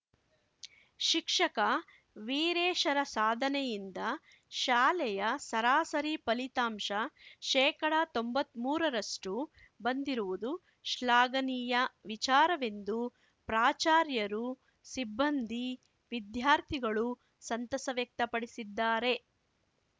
ಶಿಕ್ಷಕ ವೀರೇಶರ ಸಾಧನೆಯಿಂದ ಶಾಲೆಯ ಸರಾಸರಿ ಫಲಿತಾಂಶ ಶೇಕಡತೊಂಬತ್ಮೂರರಷ್ಟುಬಂದಿರುವುದು ಶ್ಲಾಘನೀಯ ವಿಚಾರವೆಂದು ಪ್ರಾಚಾರ್ಯರುಸಿಬ್ಬಂದಿ ವಿದ್ಯಾರ್ಥಿಗಳು ಸಂತಸ ವ್ಯಕ್ತಪಡಿಸಿದ್ದಾರೆ